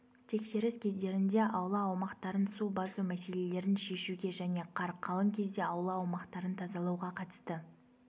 тексеріс кездерінде аула аумақтарын су басу мәселелерін шешуге және қар қалың кезде аула аумақтарын тазалауға қатысты